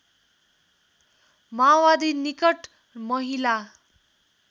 माओवादी निकट महिला